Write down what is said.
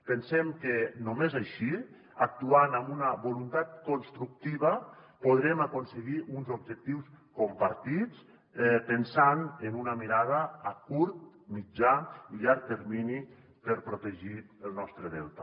pensem que només així actuant amb una voluntat constructiva podrem aconseguir uns objectius compartits pensant en una mirada a curt mitjà i llarg termini per protegir el nostre delta